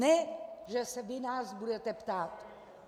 Ne že se vy nás budete ptát.